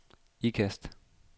Ikast